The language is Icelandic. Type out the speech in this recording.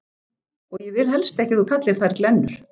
Og ég vil helst ekki að þú kallir þær glennur.